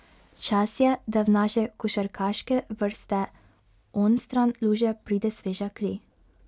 Čas je, da v naše košarkarske vrste onstran luže pride sveža kri.